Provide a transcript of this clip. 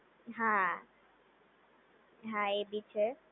હા હા A B છે.